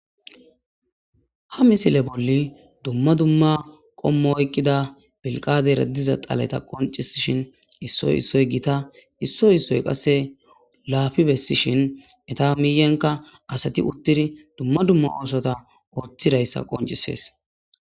Ha misile bolli dumma dumma qommo oyqqida belqade raddiza xaleta qoncisishin issoy issoy gita issoy issoy qasse laafi bessishin eta miiyenka asati uttidi dumma dumma oosota orthidayssa qoncisees.